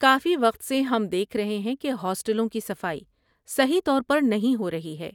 کافی وقت سے ہم دیکھ رہے ہیں کہ ہاسٹلوں کی صفائی صحیح طور پر نہیں ہو رہی ہے۔